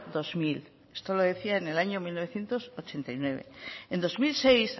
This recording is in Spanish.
dos mil esto lo decía en el año mil novecientos ochenta y nueve en dos mil seis